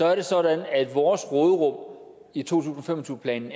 er det sådan at vores råderum i to tusind og fem og tyve planen